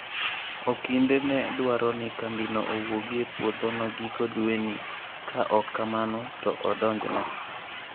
Okinde ne dwaro ni kambino owuogi e puodhono giko dweni ka ok kamano to odonjne.